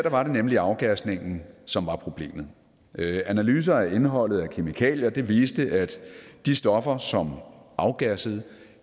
var det nemlig afgasningen som var problemet analyser af indholdet af kemikalier viste at de stoffer som afgassede